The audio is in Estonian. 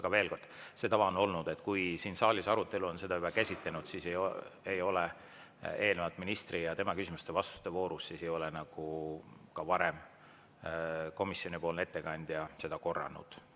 Ent veel kord, see tava on olnud, et kui siin saalis arutelu on seda juba käsitlenud, siis ei ole eelnenud ministri ja tema küsimuste-vastuste vooru komisjonipoolne ettekandja korranud.